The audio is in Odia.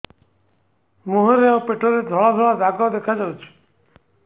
ମୁହଁରେ ଆଉ ପେଟରେ ଧଳା ଧଳା ଦାଗ ଦେଖାଯାଉଛି